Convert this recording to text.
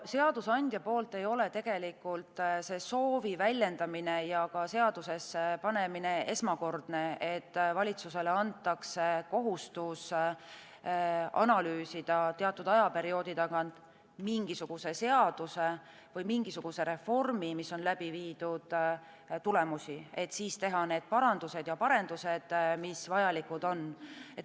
Seadusandja poolt ei ole soovi väljendamine ja seadusesse panemine esmakordne, et valitsusele antakse kohustus analüüsida teatud ajaperioodi tagant mingisuguse seaduse või mingisuguse reformi, mis on läbi viidud, tulemusi, et siis teha need parandused ja parendused, mis vajalikud on.